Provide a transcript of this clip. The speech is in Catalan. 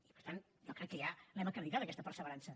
i per tant jo crec que ja l’hem acreditat aquesta perseverança